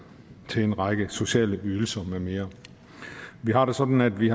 til en række sociale ydelser med mere vi har det sådan at vi